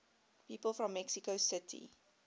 people from mexico city